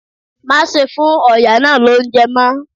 Má ṣe fún ọ̀yà náà lóúnjẹ mọ́!